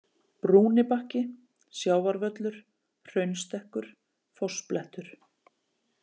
Brúnibakki, Sjávarvöllur, Hraunstekkur, Fossblettur